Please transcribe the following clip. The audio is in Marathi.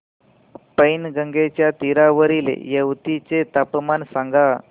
पैनगंगेच्या तीरावरील येवती चे तापमान सांगा